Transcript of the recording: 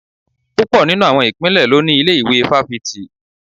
Púpọ̀ nínú àwọn ìpínlẹ̀ ló ní ilé-ìwé fáfitì